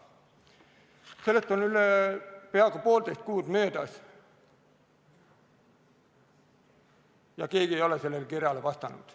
Sellest on nüüd peaaegu poolteist kuud möödas ja keegi ei ole sellele kirjale vastanud.